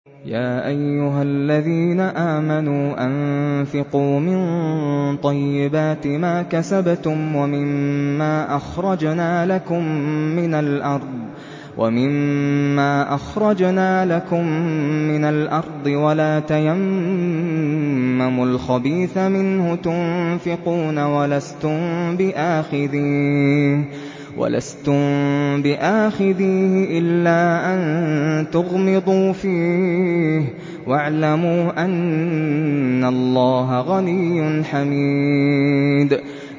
يَا أَيُّهَا الَّذِينَ آمَنُوا أَنفِقُوا مِن طَيِّبَاتِ مَا كَسَبْتُمْ وَمِمَّا أَخْرَجْنَا لَكُم مِّنَ الْأَرْضِ ۖ وَلَا تَيَمَّمُوا الْخَبِيثَ مِنْهُ تُنفِقُونَ وَلَسْتُم بِآخِذِيهِ إِلَّا أَن تُغْمِضُوا فِيهِ ۚ وَاعْلَمُوا أَنَّ اللَّهَ غَنِيٌّ حَمِيدٌ